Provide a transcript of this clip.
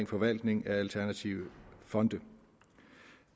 forvaltning af alternative fonde